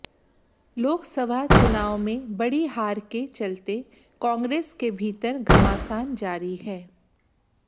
लोकसभा चुनाव में बड़ी हार के चलते कांग्रेस के भीतर घमासान जारी है